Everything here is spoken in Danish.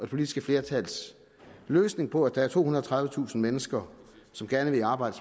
politiske flertals løsning på at der er tohundrede og tredivetusind mennesker som gerne vil arbejde